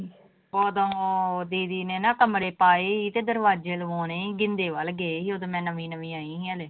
ਉਦੋਂ ਦੀਦੀ ਨੇ ਨਾ ਕਮਰੇ ਪਾਏ ਸੀ ਤੇ ਦਰਵਾਜ਼ੇ ਲਵਾਉਣੇ ਸੀ ਗਿੰਦੇ ਵੱਲ ਗਏ ਸੀ ਉੱਦਣ ਮੈਂ ਨਵੀਂ ਨਵੀਂ ਆਈ ਸੀ ਹਾਲੇ।